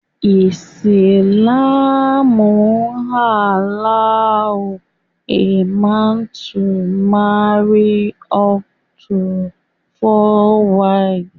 Islam allows a man to marry up to four wives